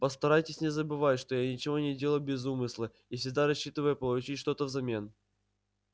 постарайтесь не забывать что я ничего не делаю без умысла и всегда рассчитываю получить что-то взамен